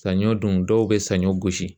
Saɲɔ dun dɔw be saɲɔ gosi